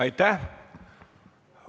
Aitäh!